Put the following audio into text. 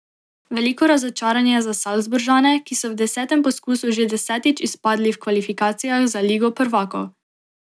Veliko razočaranje za Salzburžane, ki so v desetem poskusu že desetič izpadli v kvalifikacijah za Ligo prvakov.